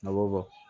Awɔ